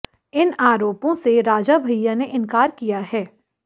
इन आरोपों से राजा भैया ने इनकार किया है